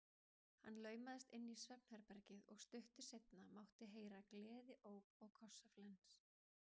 Hann laumaðist inn í svefnherbergið og stuttu seinna mátti heyra gleðióp og kossaflens.